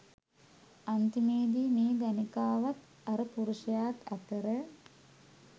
අන්තිමේදී මේ ගණිකාවත් අර පුරුෂයාත් අතර